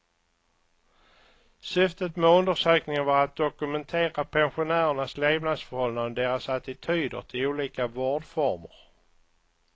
Syftet med undersökningen var att dokumentera pensionärernas levnadsförhållanden och deras attityder till olika vårdformer.